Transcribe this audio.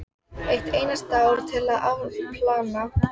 Eitt einasta ár til að afplána.